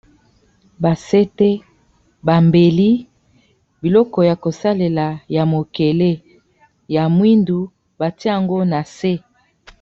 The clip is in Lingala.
Ba sete, ba mbeli biloko ya kosalela ya mokele ya mwindu batie yango na se.